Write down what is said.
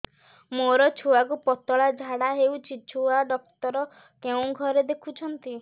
ମୋର ଛୁଆକୁ ପତଳା ଝାଡ଼ା ହେଉଛି ଛୁଆ ଡକ୍ଟର କେଉଁ ଘରେ ଦେଖୁଛନ୍ତି